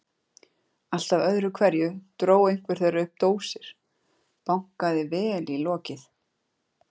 Alltaf öðru hverju dró einhver þeirra upp dósir, bankaði vel í lokið.